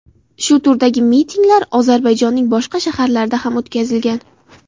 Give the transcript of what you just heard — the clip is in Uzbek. Shu turdagi mitinglar Ozarbayjonning boshqa shaharlarida ham o‘tkazilgan.